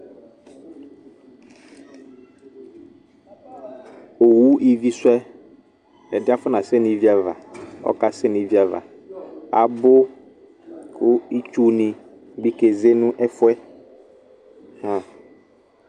Owu ivisʋ yɛ, ɛdɩ yɛ afɔnasɛ nʋ ivi ava ɔkasɛ nʋ ivi ava Abʋ kʋ itsunɩ bɩ keze nʋ ɛfʋ yɛ ahã